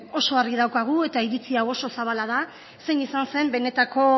oso argi daukagu eta iritzi hau oso zabala da zein izan zen benetako